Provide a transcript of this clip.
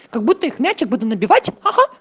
как будто их мяч я буду набивать хи-хи